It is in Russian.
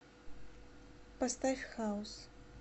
поставь хаус